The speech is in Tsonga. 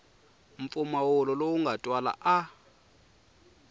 mpfumawulo lowu nga twala a